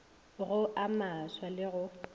go a maswa le go